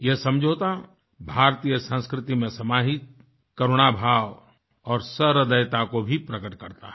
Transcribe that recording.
ये समझौता भारतीय संस्कृति में समाहित करुणाभाव और सहृदयता को भी प्रकट करता है